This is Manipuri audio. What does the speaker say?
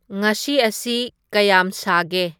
ꯉꯥꯁꯤ ꯑꯁꯤ ꯀꯌꯥꯝ ꯁꯥꯒꯦ